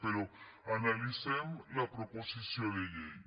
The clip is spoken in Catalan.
però analitzem la proposició de llei